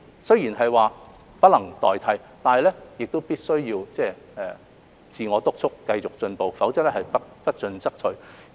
雖然是不能代替，但必須要自我督促，繼續進步，否則不進則退。